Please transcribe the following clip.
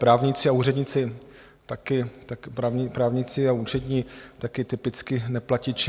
Právníci a úředníci, taky právníci a účetní, taky typicky neplatiči.